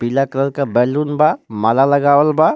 पीला कलर क बैलून बा माला लगावल बा.